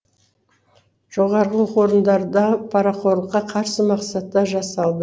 жоғарғы оқу орындарындағы парақорлыққа қарсы мақсатта жасалды